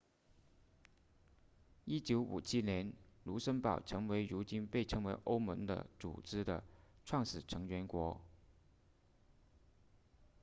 1957年卢森堡成为如今被称为欧盟的组织的创始成员国